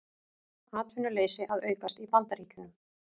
Atvinnuleysi að aukast í Bandaríkjunum